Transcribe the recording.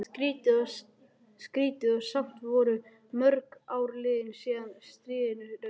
Skrýtið, og samt voru mörg ár liðin síðan stríðinu lauk.